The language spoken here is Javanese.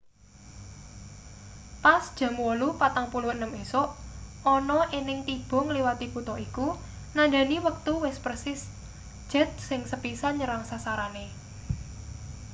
pas jam 8:46 esuk ana ening tiba ngliwati kutha iku nandhani wektu persis jet sing sepisan nyerang sasarane